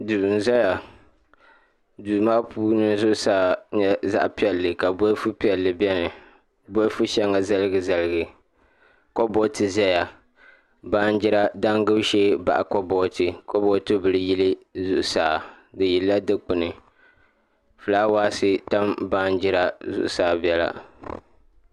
Duu n ʒɛya duu maa puuni zuɣusaa nyɛ zaɣ piɛlli ka bolfu piɛlli biɛni bolfu shɛŋa zaligi zaligi kaboti ʒɛya baanjira damgibu shee baɣa kaboti kaboti bili yili di zuɣusaa di yilila Dikpuni fulaawaasi tam baanjira zuɣusaa biɛla